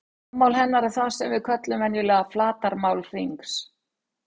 Rúmmál hennar er það sem við köllum venjulega flatarmál hringsins.